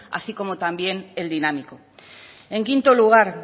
así como también el dinámico en quinto lugar